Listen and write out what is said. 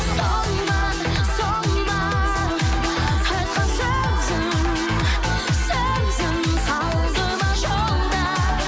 сол ма сол ма айтқан сөзің сөзің қалды ма жолда